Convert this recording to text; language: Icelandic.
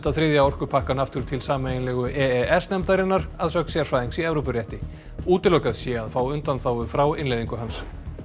þriðja orkupakkann aftur til sameiginlegu e e s nefndarinnar að sögn sérfræðings í Evrópurétti útilokað sé að fá undanþágu frá innleiðingu hans